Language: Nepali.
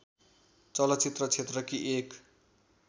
चलचित्र क्षेत्रकी एक